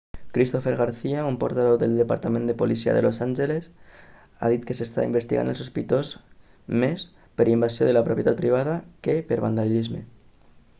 cristopher garcia un portaveu del departament de policia de los angeles ha dit que s'està investigant el sospitós més per invasió de la propietat privada que per vandalisme